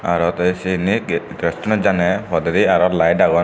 aro de sianit gate gattunot jane podendi aro light agon.